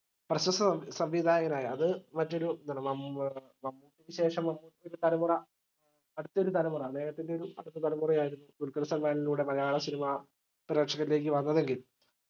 പ്രശസ്ത സംവിധായകനായ അത് മറ്റൊരു ശേഷം തലമുറ അടുത്തയൊരുതലമുറ അദ്ദേഹത്തിന്റെ ഒരു അടുത്തതലമുറ ആയ ദുൽഖർ സൽമാനിലൂടെ മലയാള cinema പ്രേക്ഷകരിലേക്ക് വന്നതെങ്കിൽ